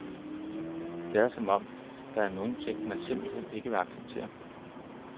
Det er, som om der er nogen ting, man simpelt hen ikke vil acceptere.